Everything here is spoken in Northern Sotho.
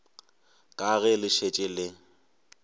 ka ge le šetše le